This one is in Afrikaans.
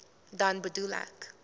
dan bedoel ek